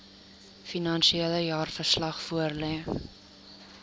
finansiële jaarverslag voorlê